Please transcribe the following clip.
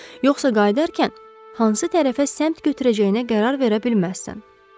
Yoxsa qayıdarkən hansı tərəfə səmt götürəcəyinə qərar verə bilməzsən.